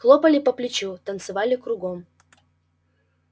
хлопали по плечу танцевали кругом